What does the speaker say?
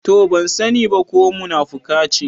To! Ban sani ba ko munafuka ce.